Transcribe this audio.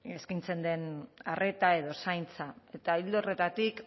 eskaintzen den arreta edo zaintza eta ildo horretatik